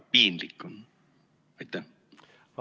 Piinlik on!